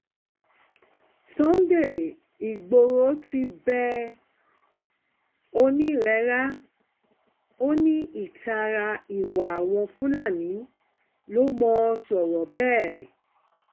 sunday igboro ti bẹ oonírera ó ní ìtara ìwà àwọn fúlàní ló mọ̀n sọ̀rọ̀ bẹ́ẹ̀